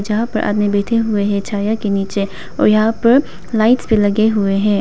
यहां पर आदमी बैठे हुए हैं छाया के नीचे और यहां पर लाइट्स भी लगे हुए हैं।